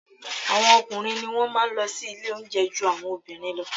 Àwọn ọkùnrin ni wọ́n má a nlọ sí ilé oúnjẹ ju àwọn obìnrin lọ